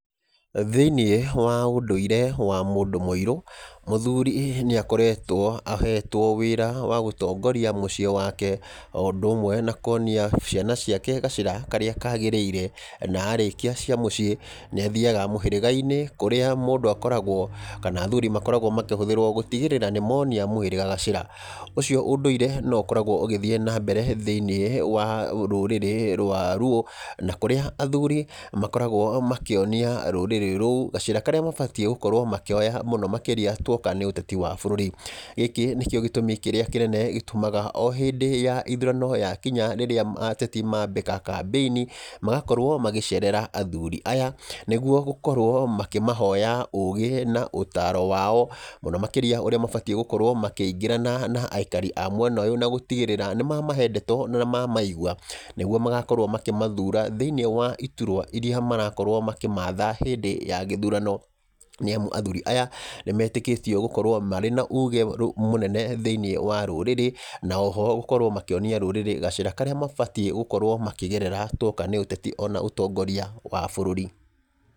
Thĩiniĩ wa ũndũire wa mũndũ mũirũ, mũthuri nĩ akoretwo ahetwo wĩra wa gũtongoria mũciĩ wake, o ũndũ ũmwe na kuonia ciana ciake gacĩra karĩa kagĩrĩire. Na arĩkia cia muciĩ, nĩ athiaga mũhĩrĩga-inĩ kũrĩa mũndũ akoragwo, kana athuri makoragwo makĩhũthĩrwo gũtigĩrĩra nĩ monia mũhirĩga gacĩra. Ũcio undũire no ũkoragwo ũgĩthiíĩ na mbere thĩiniĩ wa rũrĩrĩ rwa Luo, na kũrĩa athuri makoragwo makĩonia rũrĩrĩ rũu gacĩra karĩa mabatiĩ gũkorwo makĩoya mũno makĩria tuoka nĩ uteti wa bũrũri. Gĩkĩ nĩkĩo gĩtũmi kĩrĩa kĩnene gĩtũmaga, o hĩndĩ ya ithurano ya kinya rĩrĩa ateti mambika kambĩini, magakorwo magĩcerera athuri aya nĩ guo gũkorwo makĩmahoya ũgĩ na ũtaro wao, mũno makĩria ũrĩa megũkorwo makĩingĩrana na aikari a mwena ũyũ na gũtigĩrĩra nĩ mamahe ndeto na mamaigua, nĩ guo magakorwo makĩmathura thĩiniĩ wa iturwa iria marakorwo makĩmatha hĩndĩ ya gĩthurano. Nĩ amu athuri aya, nĩ metĩkĩtio gũkorwo marĩ na uge mũnene thĩiniĩ wa rũrĩrĩ na oho gũkorwo makĩonia rũrĩrĩ gacĩra karĩa mabatiĩ gũkorwo makĩgerera tuoka nĩ ũteti ona ũtongoria wa bũrũri.